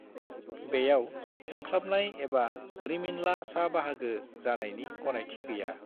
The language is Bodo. बेयाव जोंख्लाबनाय एबा रिमिनला सा बाहागो जानायनि गनायथि गैया।